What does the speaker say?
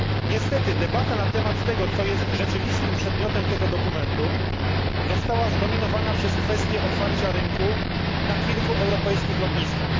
Niestety debata na temat tego, co jest rzeczywistym przedmiotem tego dokumentu, została zdominowana przez kwestię otwarcia rynku na kilku europejskich lotniskach.